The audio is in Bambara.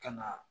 Ka na